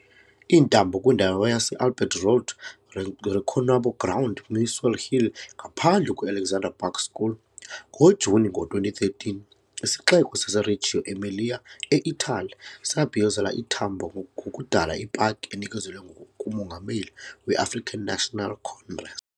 I-Tambo kwindawo yase-Albert Road Reconwabo Ground, Muswell Hill, ngaphandle kwe-Alexandra Park School. NgoJuni ngo-2013, isixeko saseRegio Emilia, e-Itali, sabhiyozela iTambo ngokudala ipaki enikezelwe kuMongameli we-African National Congress.